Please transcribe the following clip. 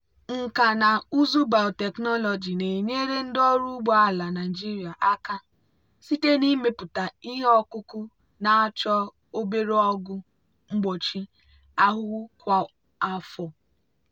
nkà na ụzụ biotechnology na-enyere ndị ọrụ ugbo ala nigeria aka site n'ịmepụta ihe ọkụkụ na-achọ obere ọgwụ mgbochi ahụhụ kwa afọ.